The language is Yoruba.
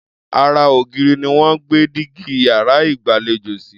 Ara ògiri ni wọ́n gbé dígí yàrá ìgbàlejò sí.